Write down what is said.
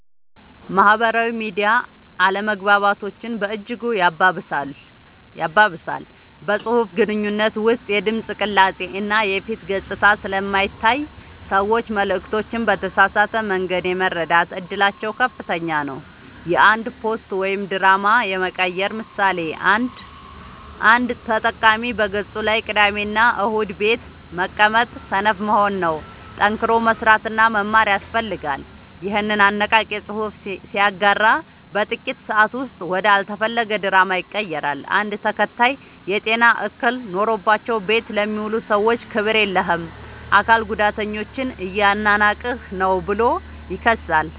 ማህበራዊ ሚዲያ አለመግባባቶችን በእጅጉ ያባብሳል። በፅሁፍ ግንኙነት ውስጥ የድምፅ ቅላፄ እና የፊት ገፅታ ስለማይታይ ሰዎች መልዕክቶችን በተሳሳተ መንገድ የመረዳት እድላቸው ከፍተኛ ነው። የአንድ ፖስት ወደ ድራማ የመቀየር ምሳሌ፦ አንድ ተጠቃሚ በገፁ ላይ "ቅዳሜና እሁድ ቤት መቀመጥ ሰነፍ መሆን ነው፣ ጠንክሮ መስራትና መማር ያስፈልጋል" ይኸንን አነቃቂ ፅሑፍ ሲያጋራ በጥቂት ሰአታት ውስጥ ወደ አልተፈለገ ድራማ ይቀየራል። አንድ ተከታይ "የጤና እክል ኖሮባቸው ቤት ለሚውሉ ሰዎች ክብር የለህም! የአካል ጉዳተኞችን እያናናቅህ ነው ብሎ ይከሳል።